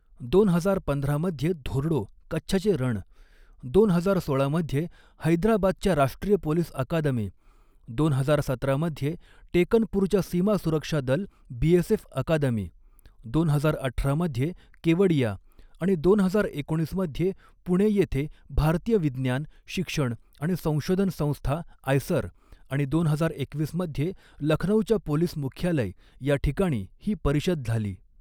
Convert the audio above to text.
दोन हजार पंधरा मध्ये धोर्डो, कच्छचे रण दोन हजार सोळा मध्ये हैदराबादच्या राष्ट्रीय पोलीस अकादमी, दोन हजार सतरा मध्ये टेकनपूरच्या सीमा सुरक्षा दल बीएसएफ अकादमी, दोन हजार अठरा मध्ये केवडिया आणि दोन हजार एकोणीस मध्ये पुणे येथे भारतीय विज्ञान, शिक्षण आणि संशोधन संस्था आयसर आणि दोन हजार एकवीस मध्ये लखनौच्या पोलिस मुख्यालय या ठिकाणी ही परिषद झाली.